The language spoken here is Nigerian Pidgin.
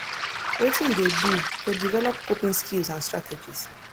wetin you dey do to develop coping skills and strategies